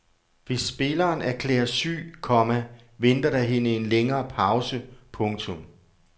Hvis spilleren erklæres syg, komma venter der hende en længere pause. punktum